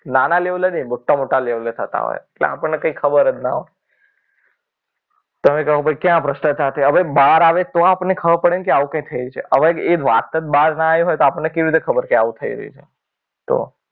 નાના લેવલે નહીં મોટા મોટા લેવલે થતા હોય એટલે આપણને કંઈ ખબર જ ન હોય. તમે કહો કે ક્યાં ભાઈ ભ્રષ્ટાચાર કે ભાઈ બહાર આવે તો આપણને ખબર પડે ને કે આવું કંઈક થયું છે. લગભગ એ વાત જ બહાર ના આવી હોય તો આપણને કેવી રીતે ખબર કે આવું થઈ રહ્યું છે. તો